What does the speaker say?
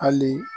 Hali